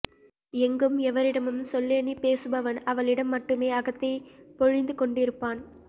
எங்கும் எவரிடமும் சொல்லெண்ணிப் பேசுபவன் அவளிடம் மட்டுமே அகத்தை பொழிந்துகொண்டிருப்பான்